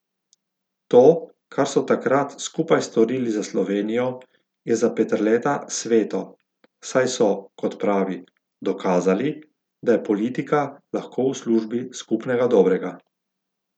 To, kar so takrat skupaj storili za Slovenijo, je za Peterleta sveto, saj so, kot pravi, dokazali, da je politika lahko v službi skupnega dobrega.